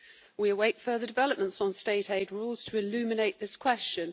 We await further developments on state aid rules to illuminate this question.